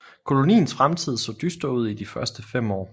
Koloniens fremtid så dyster ud i de første fem år